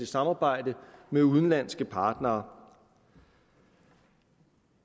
samarbejde med udenlandske partnere